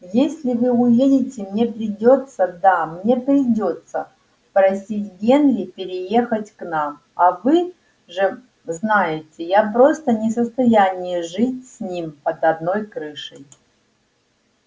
если вы уедете мне придётся да мне придётся просить генри переехать к нам а вы же знаете я просто не в состоянии жить с ним под одной крышей